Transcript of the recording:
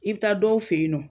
I b taa dɔw fe yen nɔ